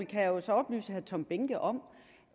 kan jo så oplyse herre tom behnke om